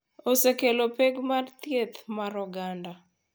Osekelo pek mag thieth mar oganda